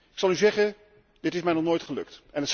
Ik zal u zeggen dit is mij nog nooit gelukt.